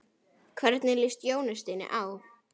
Hvernig líst Jóni Steini á?